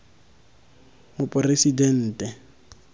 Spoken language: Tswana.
moporesidente